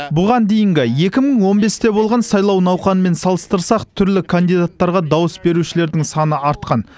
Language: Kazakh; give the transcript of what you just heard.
бұған дейінгі екі мың он бесте болған сайлау науқанымен салыстырсақ түрлі кандидаттарға дауыс берушілердің саны артқан